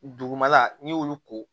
Dugumala n'i y'olu ko